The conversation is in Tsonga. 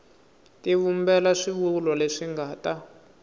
tivumbela swivulwa leswi nga ta